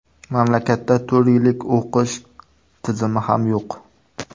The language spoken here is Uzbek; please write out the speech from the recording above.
Mamlakatda to‘rt yillik o‘qish tizimi ham yo‘q.